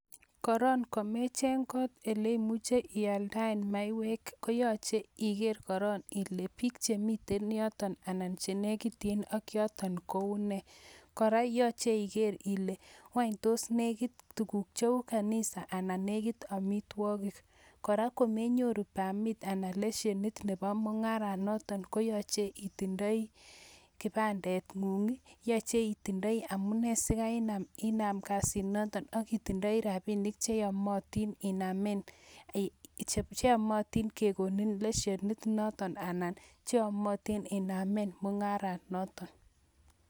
Korom komecheng kot eleimuche ialdaen maiywek, yache Iger koron kole bik Chemiten yoton anan chenekityin ak choton kounee, koraa koyaache Iger kolee tos nekit tuguk cheu kanisa anan nekit amitwakik, koraa komenyoru permit anan leshenit Nebo mungaran noton koyaache itindoi kibandet ngung, yaache itindoi amunee siinam kasit noton ak itindoi rabinik cheyomotin inamen mungaran noton anan chekilubanen leshenit